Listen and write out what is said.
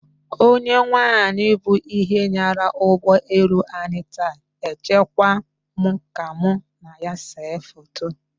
Onye nwaanyị bụ ihe nyara ụgbọ elu anyị taa! Ejekwa mụ ka mụ na ya see foto